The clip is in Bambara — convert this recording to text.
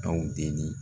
Aw deli